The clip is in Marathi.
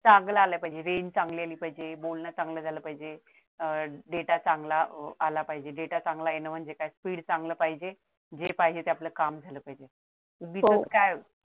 चांगला आलं पाहिजे range चांगली आली पाहिजे बोलणे चांगले झाले पाहिजे अह डेटा चांगला आला पाहिजे डेटा चांगला येण म्हणजे काय speed चांगल पाहिजे जे पाहिजे आपलं काम आहे उगीचच काय